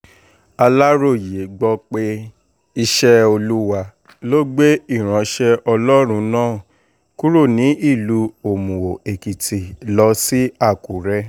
aláròye gbọ́ pé iṣẹ́ olúwa ló gbé ìránṣẹ́ ọlọ́run náà kúrò ní ìlú òmùó-èkìtì lọ sí àkùrẹ́